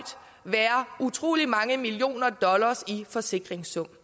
utrolig mange millioner dollars i forsikringssum